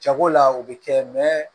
Jago la o bɛ kɛ